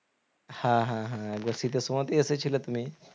হ্যাঁ হ্যাঁ হ্যাঁ, একবার শীতের সময়তে এসেছিলে তুমি